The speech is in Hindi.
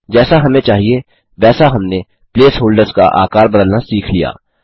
जैसा हमें चाहिए वैसा हमने प्लेसहोल्डर्स का आकार बदलना सीख लिया